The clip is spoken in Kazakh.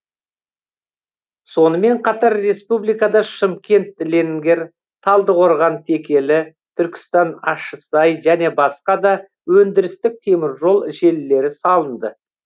сонымен қатар республикада шымкент ленгер талдықорған текелі түркістан ащысай және басқа да өндірістік теміржол желілері салынды